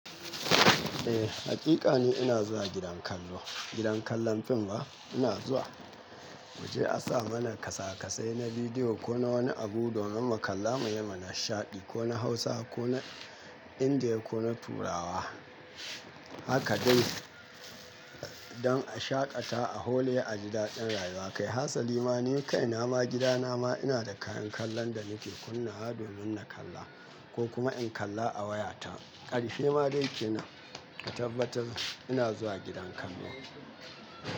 Eh hakakini ina zuwa gidan kallo gidan kallon film ba ina zuwa. Moje a sa mana kasakasai na bidiyo ko na wani abu domin mu kalla muyi nishaɗi ko na Hausa ko na Indiya ko na Turawa. Haka dai don a shaƙata a hole a gida ɗin rayuwa. Kai hatsali ma ni kai na ma gida na ma ina da kayan kallon da nake kunna wa domin na kalla ko kuma in kalla a wayata. Karshe ma dai kenan ka tabbatar ina zuwa gidan kallo.